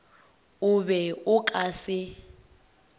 o be o ka se